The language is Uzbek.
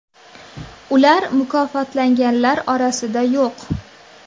Ular mukofotlanganlar orasida yo‘q.